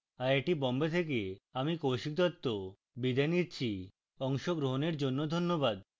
I I T Bombay থেকে আমি কৌশিক দত্ত বিদায় নিচ্ছি অংশগ্রহনের জন্য ধন্যবাদ